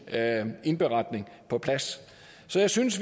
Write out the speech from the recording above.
indberetning på plads så jeg synes